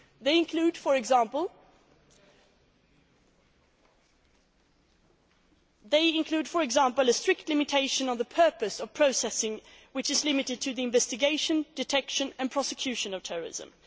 They include, for example, a strict limitation on the purpose of processing, which is limited to the investigation, detection and prosecution of terrorism.